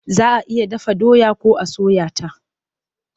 Za a iya dafa doya ko a soya ta.